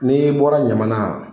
N'i bɔra ɲamana